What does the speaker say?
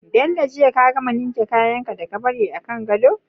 Bello jiya ka gama ninke kayan ka da ka bari a gado?